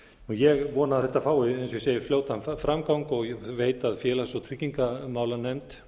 ég vona að þetta fái eins og ég segi fljótan framgang og ég veit að félags og tryggingamálanefnd